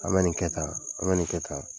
An bɛ nin kɛ tan an bɛ nin kɛ tan.